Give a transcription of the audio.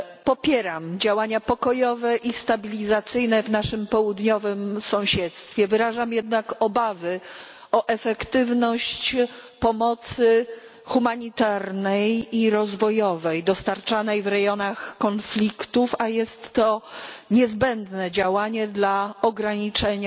Popieram działania pokojowe i stabilizacyjne w naszym południowym sąsiedztwie, wyrażam jednak obawy o efektywność pomocy humanitarnej i rozwojowej dostarczanej w rejonach konfliktów, a jest to niezbędne działanie dla ograniczenia